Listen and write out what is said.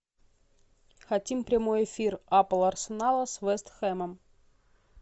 хотим прямой эфир апл арсенала с вест хэмом